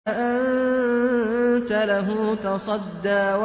فَأَنتَ لَهُ تَصَدَّىٰ